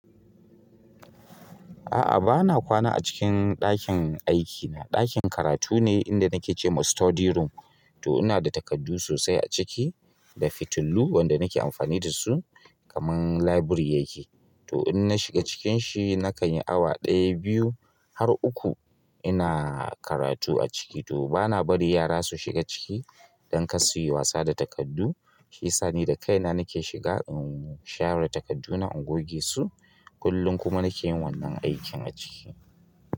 A'a, ba na kwana a cikin ɗakin aikina. Ɗakin karatu ne inda nake ce ma study room. To ina da takardu sosai a ciki da fitilu wanda nake amfani da su kamar library yake. To in na shiga cikin shi, na kan yi awa ɗaya, biyu har uku ina karatu a ciki. To ba na bari yara su shiga ciki don kar su yi wasa da takardu. Shiyasa ni da kaina nake shiga in share takarduna, in goge su. Kullum kuma nake yin wannan aikin a ciki.